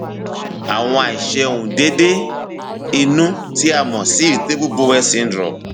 àwọn àìṣe um déédé inú tí a mọ sí cs] irritable bowel syndrome